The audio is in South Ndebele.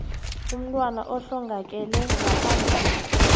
umntwana ohlongakele ngaphambi